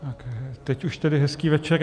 Teď už tedy hezký večer.